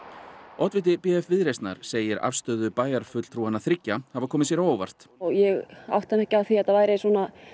oddviti b f Viðreisnar segir afstöðu bæjarfulltrúanna þriggja hafa komið sér á óvart ég áttaði mig ekki á því að það væri svo